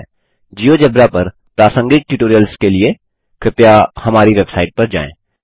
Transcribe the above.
GeoGebra पर प्रासंगिक tutorials के लिए कृपया हमारी वेबसाइट पर जाएँ